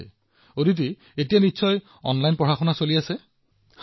আচ্ছা অদিতি এতিয়াটো অনলাইনত পঢ়ি আছা তুমি